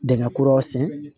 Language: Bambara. Dingɛ kuraw sen